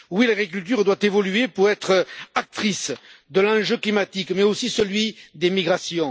Oui, l'agriculture doit évoluer pour être actrice de l'enjeu climatique, mais aussi celui des migrations.